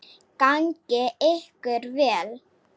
Gangi ykkur vel.